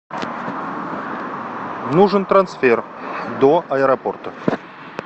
нужен трансфер до аэропорта